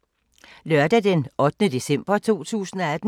Lørdag d. 8. december 2018